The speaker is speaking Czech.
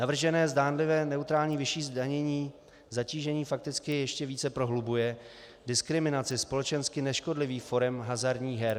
Navržené zdánlivě neutrální vyšší zdanění zatížení fakticky ještě více prohlubuje diskriminaci společensky neškodlivých forem hazardních her.